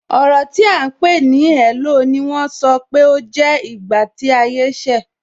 Ọrọ ti a ń pè ní "hello" ni wọ́n sọ pé ó jẹ́ ìgbà tí ayé ṣe.